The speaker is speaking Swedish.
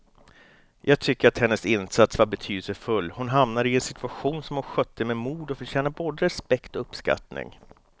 Jag tycker att hennes insats var betydelsefull, hon hamnade i en situation som hon skötte med mod och förtjänar både respekt och uppskattning.